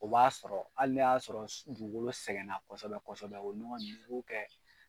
O b'a sɔrɔ hali n'o y'a sɔrɔ dugukolo sɛgɛn na kɔsɔbɛ kɔsɔbɛ o nɔgɔ in i b'o kɛ